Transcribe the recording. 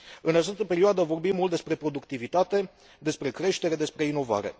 În această perioadă, vorbim mult despre productivitate, despre creștere, despre inovare.